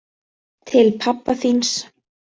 Til pabba þíns.